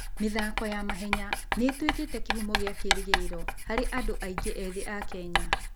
mĩthako ya mahenya nĩ ĩtuĩkĩte kĩhumo kĩa kĩĩrĩgĩrĩro harĩ andũ aingĩ ethĩ a Kenya.